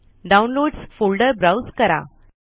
downloads folder browse करा